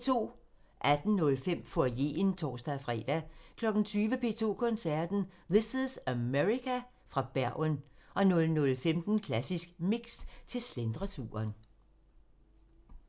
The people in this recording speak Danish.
18:05: Foyeren (tor-fre) 20:00: P2 Koncerten – This is America?/! – fra Bergen 00:15: Klassisk Mix – til slentreturen